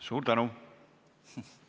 Suur tänu!